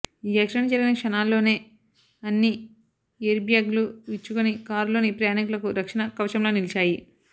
ఈ యాక్సిడెంట్ జరిగిన క్షణాల్లోనే అన్ని ఎయిర్బ్యాగ్లు విచ్చుకొని కారులోని ప్రయాణికులకు రక్షణ కవచంలా నిలిచాయి